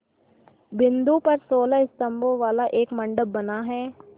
बिंदु पर सोलह स्तंभों वाला एक मंडप बना है